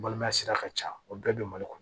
Balimaya sira ka ca o bɛɛ be mali kɔnɔ